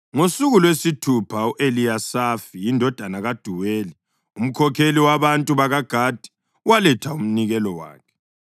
Ngosuku lwesithupha u-Eliyasafi indodana kaDuweli, umkhokheli wabantu bakaGadi, waletha umnikelo wakhe.